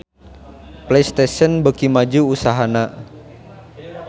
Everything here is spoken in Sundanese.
Playstation beuki maju usahana